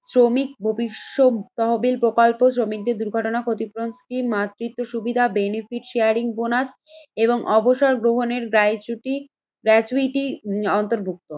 শ্রমিক ভবিষ্যৎ তহবিল প্রকল্প শ্রমিকদের দুর্ঘটনা ক্ষতিপূরণটি মাতৃত্ব সুবিধা বেনিফিট শেয়ারিং বোনাস এবং অবসর গ্রহণের গায় চিটু গ্রাচুইটি অন্তর্ভুক্ত।